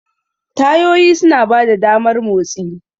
Tayoyi suna ba da damar motsi.